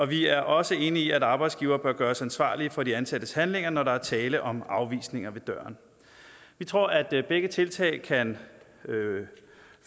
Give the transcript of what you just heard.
vi er også enige i at arbejdsgivere bør gøres ansvarlige for de ansattes handlinger når der er tale om afvisninger ved døren vi tror at begge tiltag kan